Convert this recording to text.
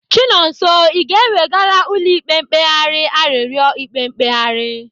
Chinonso, Ị ga-ewegara ụlọ ikpe mkpegharị arịọri ikpe mkpegharị?